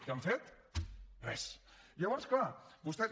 què han fet res llavors clar vostès